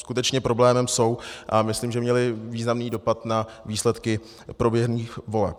Skutečně problémem jsou a myslím, že měly významný dopad na výsledky proběhlých voleb.